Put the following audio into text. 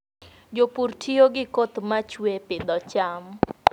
Jopur tiyo gi koth ma chue e pidho cham.